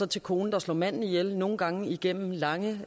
til konen der slår manden ihjel nogle gange igennem lange